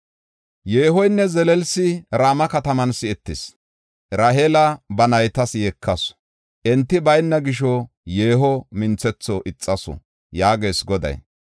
“Yeehoynne zelelsi Rama kataman si7etis; Raheela ba naytas yeekasu; enti bayna gisho yeeho minthetho ixasu” yaagees Goday.